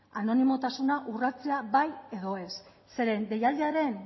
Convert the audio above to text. anonimotasuna urratzea bai edo zeren deialdiaren